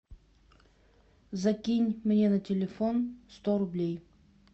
закинь мне на телефон сто рублей